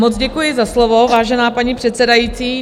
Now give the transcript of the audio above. Moc děkuji za slovo, vážená paní předsedající.